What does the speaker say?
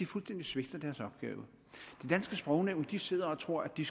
fuldstændig svigter deres opgave det danske sprognævn sidder og tror at de